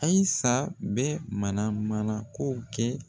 Ayisa bɛ mana mana ko kɛ.